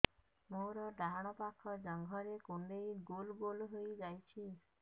ମୋର ଡାହାଣ ପାଖ ଜଙ୍ଘରେ କୁଣ୍ଡେଇ ଗୋଲ ଗୋଲ ହେଇଯାଉଛି